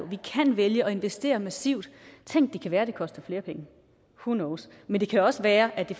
vi kan vælge at investere massivt tænk det kan være det koster flere penge who knows men det kan også være at det